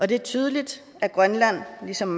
det er tydeligt at grønland ligesom